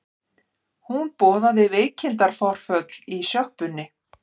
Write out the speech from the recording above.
Hún boðaði veikindaforföll í sjoppunni.